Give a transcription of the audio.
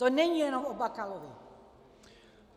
To není jenom o Bakalovi.